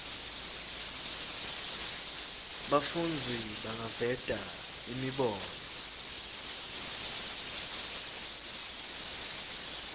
bafundzi bangaveta imibono